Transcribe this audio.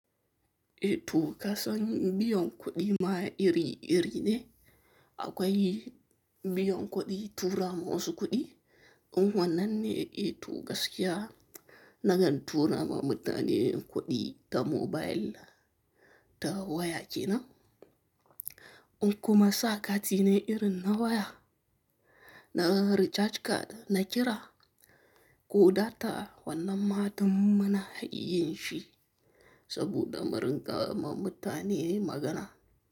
E to kasan biyon kuɗi ma iri-iri ne, akwai biyon kuɗi tura masu kuɗi, in wannan ne e to gaskiya nagan tura ma mutane kuɗi ta mobile ta waya kenan. In kuma sa kati ne irin na waya, na recharge card na kira, ko data wannan ma tum munayin shi saboda murinƙa ma mutane magana.